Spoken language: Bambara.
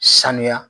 Sanuya